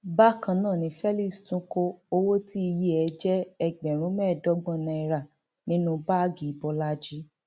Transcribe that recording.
bákan náà ni felix tún kó owó tíye e jẹ ẹgbẹrún mẹẹẹdọgbọn náírà nínú báàgì bọlajì